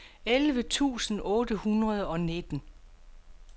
elleve tusind otte hundrede og nitten